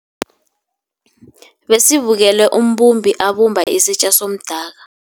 Besibukele umbumbi abumba isitja somdaka.